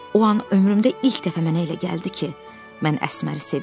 O an ömrümdə ilk dəfə mənə elə gəldi ki, mən Əsməri sevirəm.